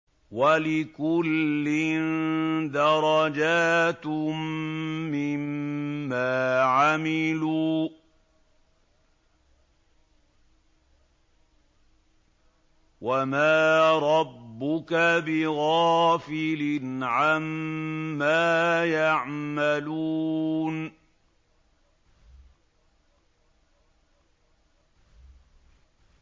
وَلِكُلٍّ دَرَجَاتٌ مِّمَّا عَمِلُوا ۚ وَمَا رَبُّكَ بِغَافِلٍ عَمَّا يَعْمَلُونَ